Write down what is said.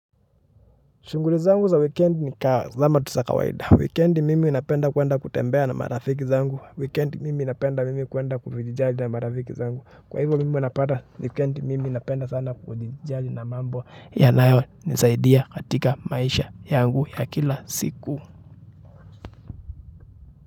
Shughuli zangu za wikendi nikama tu za kawaida. Wikendi mimi ninapenda kwenda kutembea na marafiki zangu. Weekendi mimi inapenda mimi kuwenda kufijijaji na marafiki zangu. Kwa hivyo mimi ninapata. Wikendi mimi napenda sana kulijali na mambo yanayo nisaidia katika maisha yangu ya kila siku.